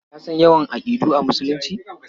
Ka san yawan aƙidu a Musulunci?